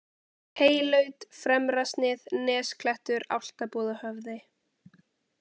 Heylaut, Fremrasnið, Nesklettur, Álftabúðahöfði